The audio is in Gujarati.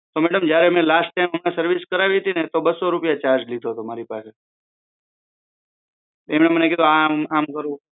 તો મેડમ અમે જયારે લાસ્ટ ટાઇમ સર્વિસ કરાવી હતી તો એમણે બસો રૂપિયા ચાર્જ લીધો હતો મારી પાસેથી એમણે કીધું આમ કરું